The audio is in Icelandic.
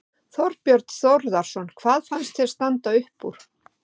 Þorbjörn Þórðarson: Hvað fannst þér standa upp úr?